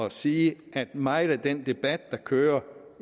at sige at meget af den debat der kører